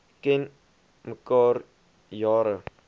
ken mekaar jare